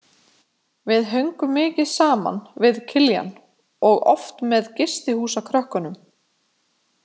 Við höngum mikið saman, við Kiljan, og oft með gistihúsakrökkunum.